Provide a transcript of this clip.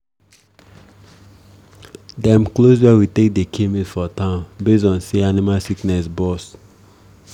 dem close where we take dey kill meat for town base on say better animal sickness bust